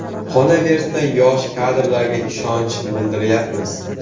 Qolaversa, yosh kadrlarga ishonch bildiryapmiz.